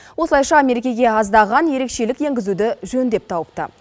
осылайша мерекеге аздаған ерекшелік енгізуді жөн деп тауыпты